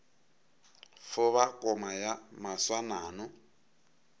fo ba koma ya moswanano